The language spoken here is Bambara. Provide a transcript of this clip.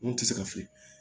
N'o tɛ se ka fili